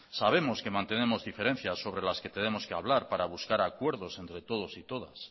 sabemos que mantenemos diferencias sobre las que tenemos que hablar para buscar acuerdos entre todos y todas